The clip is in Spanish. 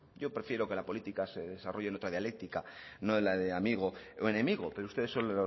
yo prefiero que la política se desarrolle en otra dialéctica no en la de amigo o enemigo pero ustedes son